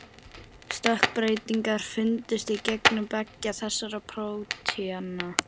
Stökkbreytingar fundust í genum beggja þessara prótína.